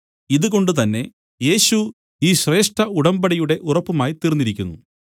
ഇത് കൊണ്ട് തന്നെ യേശു ഈ ശ്രേഷ്ഠ ഉടമ്പടിയുടെ ഉറപ്പുമായിതീർന്നിരിക്കുന്നു